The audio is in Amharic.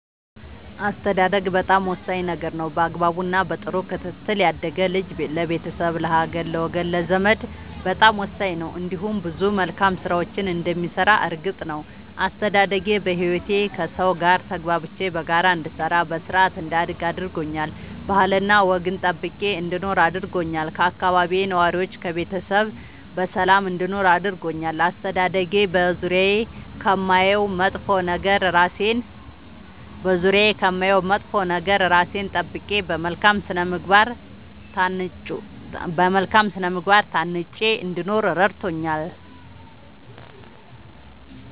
አስተዳደግ በጣም ወሳኝ ነገር ነው በአግባቡ እና በጥሩ ክትትል ያደገ ልጅ ለቤተሰብ ለሀገር ለወገን ለዘመድ በጣም ወሳኝ ነው እንዲሁም ብዙ መልካም ስራዎችን እንደሚሰራ እርግጥ ነው። አስተዳደጌ በህይወቴ ከሠው ጋር ተግባብቼ በጋራ እንድሰራ በስርአት እንዳድግ አድርጎኛል ባህልና ወግን ጠብቄ እንድኖር አድርጎኛል ከአካባቢዬ ነዋሪዎች ከቤተሰብ በሰላም እንድኖር አድርጎኛል። አስተዳደጌ በዙሪያዬ ከማየው መጥፎ ነገር እራሴን ጠብቄ በመልካም ስነ ምግባር ታንጬ እንድኖር እረድቶኛል።